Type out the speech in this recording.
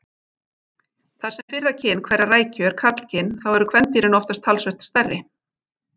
Þar sem fyrra kyn hverrar rækju er karlkyn þá eru kvendýrin oftast talsvert stærri.